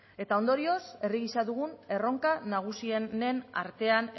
eta ondorioz herri gisa dugun erronka nagusienen artean